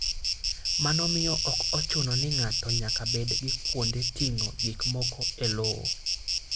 Mano miyo ok ochuno ni ng'ato nyaka bed gi kuonde ting'o gik moko e lowo.